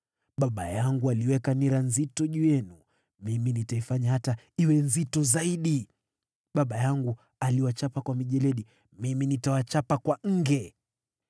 Baba yangu aliweka nira nzito juu yenu, mimi nitaifanya hata iwe nzito zaidi. Baba yangu aliwachapa kwa mijeledi; mimi nitawachapa kwa nge.’ ”